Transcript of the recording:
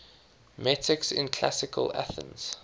metics in classical athens